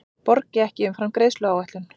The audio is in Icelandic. Borgi ekki umfram greiðsluáætlun